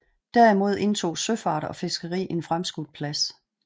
Derimod indtog søfart og fiskeri en fremskudt plads